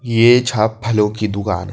ये छा फलों की दुकान।